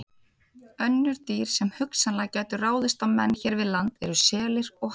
Önnur dýr sem hugsanlega gætu ráðist á menn hér við land eru selir og háhyrningar.